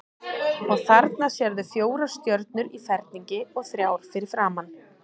Og þarna sérðu fjórar stjörnur í ferningi og þrjár fyrir framan.